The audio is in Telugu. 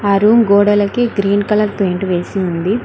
ఆ రూమ్ గోడలకి గ్రీన్ కలర్ పెయింట్ వేసింది